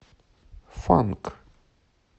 фанк